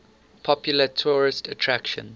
popular tourist attraction